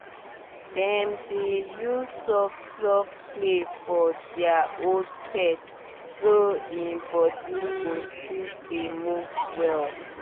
dem dey use soft-soft play for their old pet so e body go still dey move well